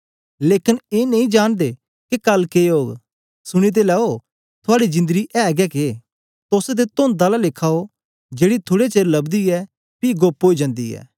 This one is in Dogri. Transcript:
लेकन ए नेई जानदे के कल के ओग सुनी ते लैओ थूआडी जिंदड़ी ऐ गै के तोस ते तोंध आला लेखा ओ जेड़ी थुड़े चेर लबदी ऐ पी गोप्प ओई जन्दी ऐ